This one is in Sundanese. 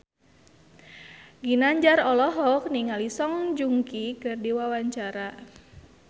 Ginanjar olohok ningali Song Joong Ki keur diwawancara